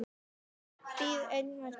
Ég bíð enn eftir svari.